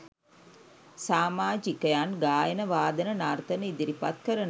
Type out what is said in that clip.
සාමාජිකයන් ගායන වාදන නර්තන ඉදිරිපත් කරනවා